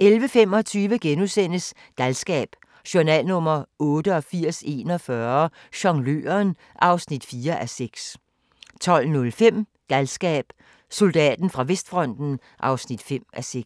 11:25: Galskab: Journal nr. 8841 - Jongløren (4:6)* 12:05: Galskab: Soldaten fra vestfronten (5:6)